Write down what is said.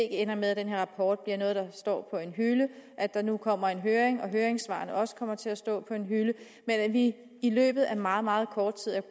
ender med at den her rapport bliver noget der står på en hylde at der nu kommer en høring og at høringssvarene så også kommer til at stå på en hylde men at vi i løbet af meget meget kort tid